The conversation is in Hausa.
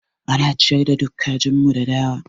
Ana ciyar da duk kajin mu da dawa.